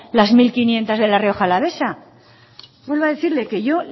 las mil quinientos de la rioja alavesa vuelvo a decirle que yo